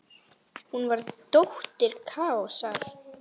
Hún var dóttir Kaosar.